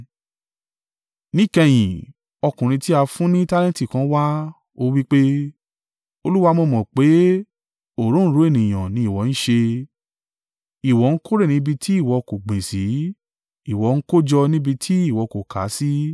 “Níkẹyìn, ọkùnrin tí a fún ní tálẹ́ǹtì kan wá, ó wí pé, ‘Olúwa, mo mọ̀ pé òǹrorò ènìyàn ni ìwọ ń ṣe ìwọ ń kórè níbi tí ìwọ kò gbìn sí, ìwọ ń kójọ níbi tí ìwọ kò ó ká sí.